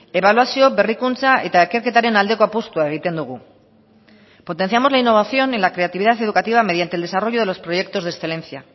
ebaluazio berrikuntza eta ikerketaren aldeko apustua egiten dugu potenciamos la innovación en la creatividad educativa mediante el desarrollo de los proyectos de excelencia